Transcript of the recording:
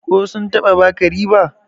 ko sun taba baka riba?